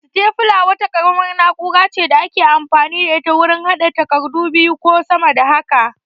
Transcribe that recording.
Sitefula wata ƙaramar na'ura ce da ake amfani da ita wurin haɗa takardu biyu ko sama da haka